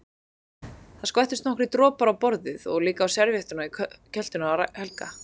Það skvettust nokkrir dropar á borðið og líka á servíettuna í kjöltunni á Helga.